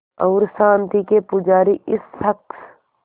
और शांति के पुजारी इस शख़्स